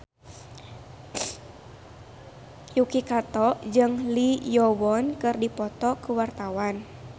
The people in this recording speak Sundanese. Yuki Kato jeung Lee Yo Won keur dipoto ku wartawan